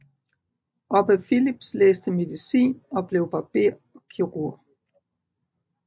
Obbe Philips læste medicin og blev barber og kirurg